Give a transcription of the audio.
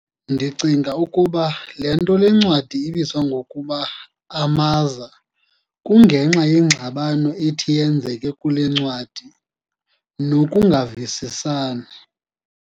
Ndicinga ukuba le nto le ncwadi ibizwa ngokuba "Amaza" kunge nxa yeengxabano ethi yenzeke kule ncwadi, nokungavisisani.